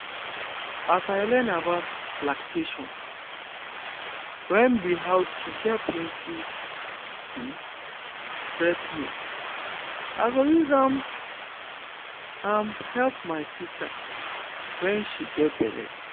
as i learn about lactation wen be how to get plenty um breast milk i go use am am help my sister wen she get belle